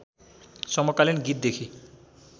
समकालिन गीतदेखि